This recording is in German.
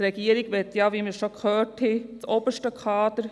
Die Regierung möchte sie, wie wir schon gehört haben, für das oberste Kader.